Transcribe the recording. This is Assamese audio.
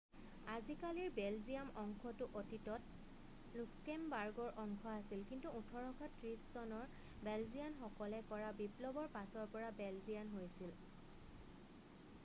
আজিকালিৰ বেলজিয়াম অংশটো অতীতত লুক্সেমবাৰ্গৰ অংশ আছিল কিন্তু 1830 চনৰ বেলজিয়ান সকলে কৰা বিপ্লৱৰ পাছৰ পৰা বেলজিয়ান হৈছি্ল